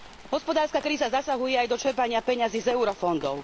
Hospodárska kríza zasahuje aj do čerpania peňazí z eurofondov.